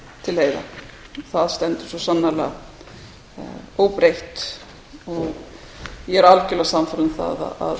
til leiða það stendur svo sannarlega óbreytt ég er algjörlega sannfærð um það að